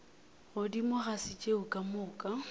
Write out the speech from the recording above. godimo ga tšeo ka moka